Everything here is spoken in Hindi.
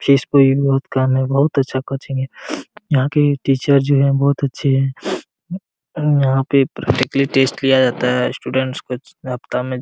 बहुत अच्छा कोचिंग है यहाॅं के टीचर जो हैं बहुत अच्छे हैं यहाॅं पे प्रैक्टिकली टेस्ट लिया जाता है स्टूडेंट को सप्ताह में --